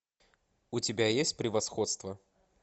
у тебя есть превосходство